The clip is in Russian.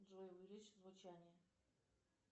джой увеличь звучание